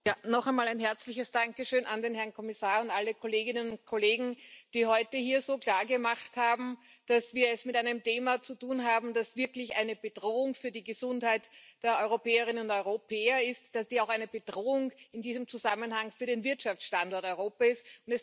Herr Präsident! Noch einmal ein herzliches Dankeschön an den Herrn Kommissar und an alle Kolleginnen und Kollegen, die heute hier so klargemacht haben, dass wir es mit einem Thema zu tun haben, das wirklich eine Bedrohung für die Gesundheit der Europäerinnen und Europäer ist, das in diesem Zusammenhang auch eine Bedrohung für den Wirtschaftsstandort Europa ist.